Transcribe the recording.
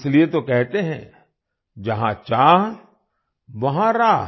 इसीलिए तो कहते हैं जहां चाह वहां राह